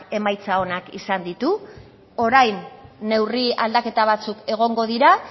emaitza onak izan ditu orain neurri aldaketa batzuk egongo dira